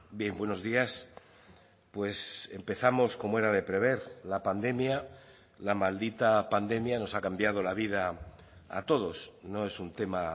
bien buenos días pues empezamos como era de prever la pandemia la maldita pandemia nos ha cambiado la vida a todos no es un tema